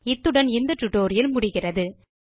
இத்துடன் இந்த டுடோரியல் முடிவுக்கு வருகிறது